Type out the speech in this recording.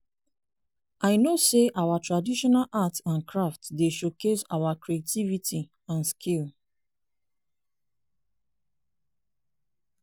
i know say our traditional art and craft dey showcase our creativity and skill.